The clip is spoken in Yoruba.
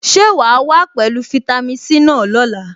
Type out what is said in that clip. Ṣé wàá wá pẹ̀lú fitami C náà lọ́la?